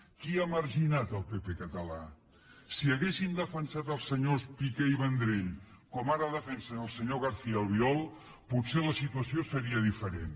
qui ha marginat el pp català si haguessin defensat els senyors piqué i vendrell com ara defensen el senyor garcía albiol potser la situació seria diferent